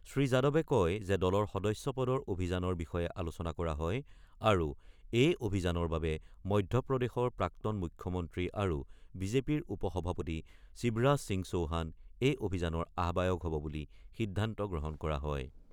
শ্ৰীযাদৱে কয় যে দলৰ সদস্য পদৰ অভিযানৰ বিষয়ে আলোচনা কৰা হয় আৰু এই অভিযানৰ বাবে মধ্যপ্ৰদেশৰ প্ৰাক্তন মুখ্যমন্ত্ৰী আৰু বিজেপিৰ উপ সভাপতি শিৱৰাজ সিং চৌহান এই অভিযানৰ আহ্বায়ক হব বুলি সিদ্ধান্ত গ্ৰহণ কৰা হয়।